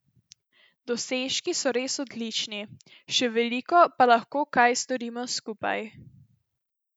Dosežki so res odlični, še veliko pa lahko kaj storimo skupaj.